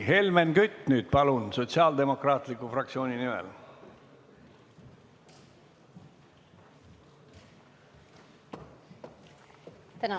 Helmen Kütt, palun nüüd Sotsiaaldemokraatliku fraktsiooni nimel!